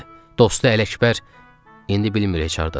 Dostu Ələkbər, indi bilmir heç hardadır o.